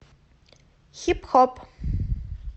хип хоп